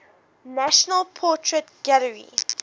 national portrait gallery